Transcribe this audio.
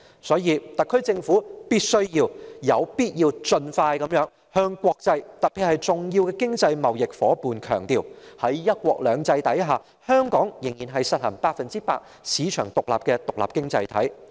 因此，特區政府必須盡快向國際強調，特別是向重要的經濟貿易夥伴強調，在"一國兩制"下，香港仍然是實行百分之一百市場經濟的獨立經濟體。